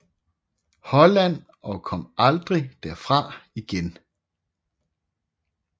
Holland og kom aldrig derfra igen